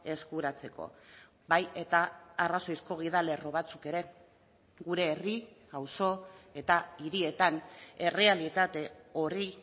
eskuratzeko bai eta arrazoizko gidalerro batzuk ere gure herri auzo eta hirietan errealitate horri